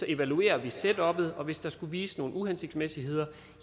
evaluerer setuppet og hvis der skulle vise sig nogle uhensigtsmæssigheder